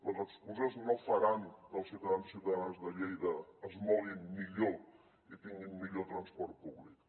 les excuses no faran que els ciutadans i ciutadanes de lleida es moguin millor i tinguin millor transport públic